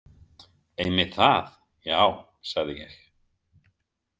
Einmitt það, já, sagði ég.